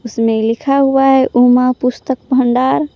इसमें लिखा हुआ है उमा पुस्तक भंडार।